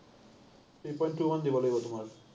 three point two মান দিব লাগিব তোমাৰ।